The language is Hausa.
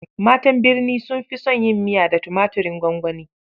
Matan birni sun fi son yin miya da tumaturin gwangwani.